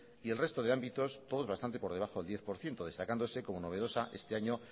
y el resto de ámbitos todos bastantes por debajo del diez por ciento destacándose como novedosa este año